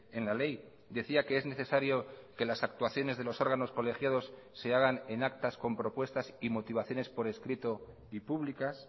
en la ley decía que es necesario que las actuaciones de los órganos colegiados se hagan en actas con propuestas y motivaciones por escrito y públicas